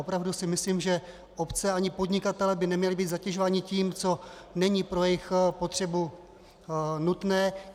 Opravdu si myslím, že obce ani podnikatelé by neměli být zatěžováni tím, co není pro jejich potřebu nutné.